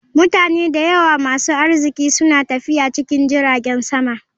Mutane da yawa masu arziki suna tafiya cikin jiragen sama.